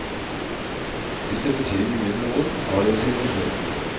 Hvis det betyr mye for noen, har det jo sin misjon.